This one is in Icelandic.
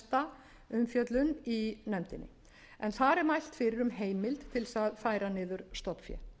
mesta umfjöllun í nefndinni en þar er mælt fyrir um heimild til þess að færa niður stofnfé